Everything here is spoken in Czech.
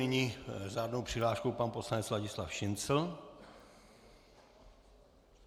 Nyní s řádnou přihláškou pan poslanec Ladislav Šincl.